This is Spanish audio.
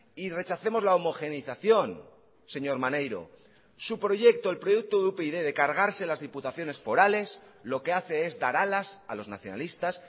y rechacemos la homogeneización señor maneiro su proyecto el proyecto de upyd de cargarse las diputaciones forales lo que hace es dar alas a los nacionalistas